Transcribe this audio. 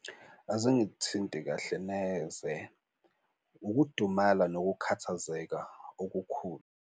Azingithinti kahle neze, ukudumala nokukhathazeka okukhulu.